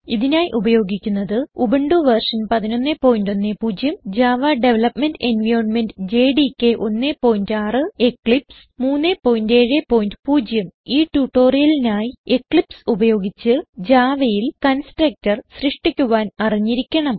ഇതിനായി ഉപയോഗിക്കുന്നത് Ubuntu version 1110 Java development environment JDK 16 Eclipse 370 ഈ ട്യൂട്ടോറിയലിനായി എക്ലിപ്സ് ഉപയോഗിച്ച് Javaയിൽ കൺസ്ട്രക്ടർ സൃഷ്ടിക്കാൻ അറിഞ്ഞിരിക്കണം